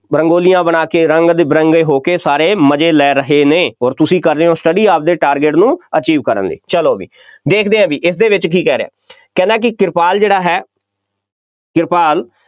ਰੰਗੋਲੀਆਂ ਬਣਾ ਕੇ ਰੰਗ ਬਿਰੰਗੇ ਹੋ ਕੇ ਸਾਰੇ ਮਜ਼ੇ ਲੈ ਰਹੇ ਨੇ ਅੋਰ ਤੁਸੀਂ ਕਰ ਰਹੇ ਹੋ study ਆਪਦੇ target ਨੂੰ achieve ਕਰਨ ਲਈ, ਚੱਲੋ ਬਈ, ਦੇਖਦੇ ਆ ਬਈ, ਇਸਦੇ ਵਿੱਚ ਕੀ ਕਹਿ ਰਿਹਾ ਹੈ, ਕਹਿੰਦਾ ਬਈ ਕਿਰਪਾਲ ਜਿਹੜਾ ਹੈ, ਕਿਰਪਾਲ